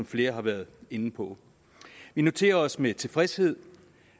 flere har været inde på vi noterer os med tilfredshed